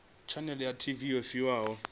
tshanele ya tv yo fhiwaho